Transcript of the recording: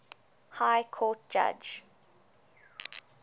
high court judge